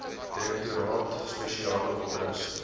direktoraat spesiale operasies